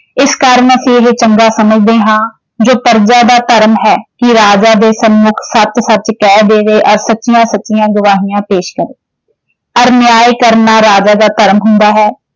ਇਸ ਕਾਰਨ ਅਸੀਂ ਇਹ ਚੰਗਾ ਸਮਝਦੇ ਹਾਂ। ਜੋ ਪਰਜਾ ਦਾ ਧਰਮ ਹੈ ਕਿ ਰਾਜਾ ਦੇ ਸਨਮੁੱਖ ਸੱਚ-ਸੱਚ ਕਹਿ ਦੇਵੇ ਔਰ ਸੱਚੀਆਂ-ਸੱਚੀਆਂ ਗਵਾਹੀਆਂ ਪੇਸ਼ ਕਰੇ ਔਰ ਨਿਆਂ ਕਰਨਾ ਰਾਜਾ ਦਾ ਧਰਮ ਹੁੰਦਾ ਹੈ।